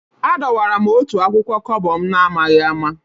Adọwara m otu akwụkwọ Kobo m n'amaghị ama